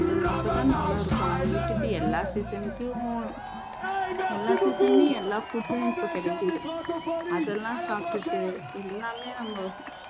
அப்போ தான் நல்லா இருக்கும் அதை விட்டுட்டு எல்லா season க்கும் எல்லா season லயும் எல்லா food ம் இப்போ கிடைக்குது அதெல்லாம் சாப்பிட்டு எல்லாமே நம்ம